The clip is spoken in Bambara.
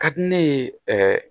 Ka di ne ye ɛɛ